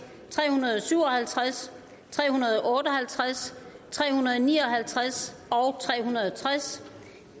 tre hundrede og syv og halvtreds tre hundrede og otte og halvtreds tre hundrede og ni og halvtreds og tre hundrede og tres